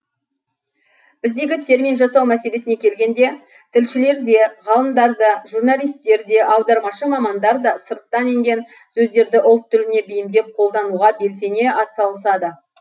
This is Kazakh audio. біздегі термин жасау мәселесіне келгенде тілшілер де ғалымдар да журналистер де аудармашы мамандар да сырттан енген сөздерді ұлт тіліне бейімдеп қолдануға белсене атсалысады